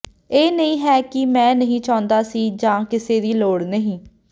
ਇਹ ਨਹੀਂ ਹੈ ਕਿ ਮੈਂ ਨਹੀਂ ਚਾਹੁੰਦਾ ਸੀ ਜਾਂ ਕਿਸੇ ਦੀ ਲੋੜ ਨਹੀਂ